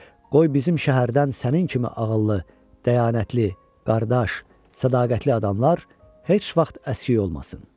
Qoy bizim şəhərdən sənin kimi ağıllı, dəyanətli qardaş, sədaqətli adamlar heç vaxt əskik olmasın.